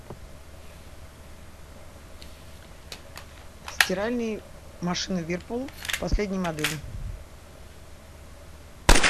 стиральные машины вирпул последние модели